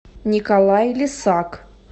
николай лисак